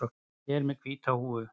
Ég er með hvíta húfu.